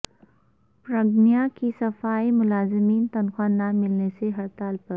برگنیا کےصفائی ملازمین تنخواہ نہ ملنے سے ہڑتال پر